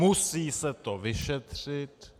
Musí se to vyšetřit.